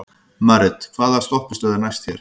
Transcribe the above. Marit, hvaða stoppistöð er næst mér?